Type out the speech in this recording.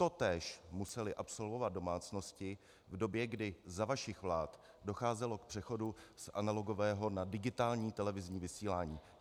Totéž musely absolvovat domácnosti v době, kdy za vašich vlád docházelo k přechodu z analogového na digitální televizní vysílání.